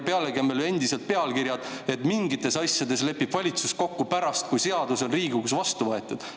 Pealegi on meil endiselt pealkirjad, et mingites asjades lepib valitsus kokku pärast, kui seadus on Riigikogus vastu võetud.